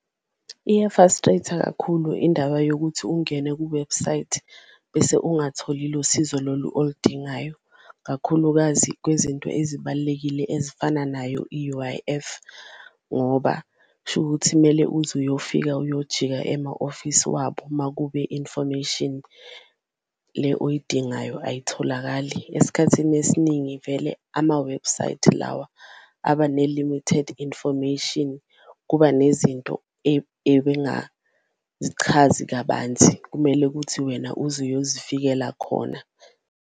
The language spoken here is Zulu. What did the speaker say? Iya-frustrate-a kakhulu indaba yokuthi ungene kuwebhusayithi bese ungatholi lo sizo lolu oludingayo, kakhulukazi kwezinto ezibalulekile ezifana nayo i-U_I_F ngoba kusho ukuthi kumele uze uyofika ukuyojika ema-ofisi wabo, makube i-information le oyidingayo ayitholakali. Esikhathini esiningi vele amawebhusayithi lawa abane-limited information, kuba nezinto ebengazichazi kabanzi kumele ukuthi wena uze uyozifikela khona.